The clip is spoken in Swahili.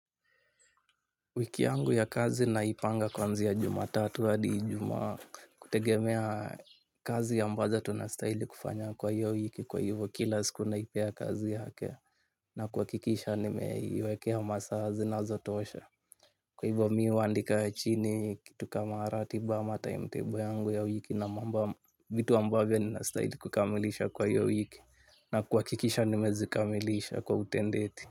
Wiki yangu ya kazi naipanga kuanzia Jumatatu hadi Ijumaa kutegemea kazi ambazo tunastahili kufanya kwa hiyo wiki kwa hivyo kila siku naipea kazi yake na kuhakikisha nimeiwekea masaa zinazotosha. Kwa hivyo mi huandika chini kitu kama ratiba ama timetable yangu ya wiki na mambo vitu ambavyo ninastahili kukamilisha kwa hiyo wiki na kuhakikisha nimezikamilisha kwa utendeti.